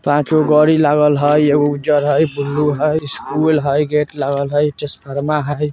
पाँचगो गोडी लागल हई। एगो उज्जर हई बुलु हई स्कुल हई गेट लागल हई टेसफार्मा हई --